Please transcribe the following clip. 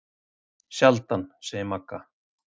Sjaldan, segir Magga.